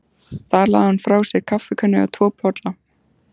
Þar lagði hún frá sér kaffikönnu og tvo bolla.